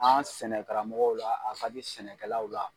An sɛnɛ karamɔgɔw la a ka di sɛnɛkɛlaw la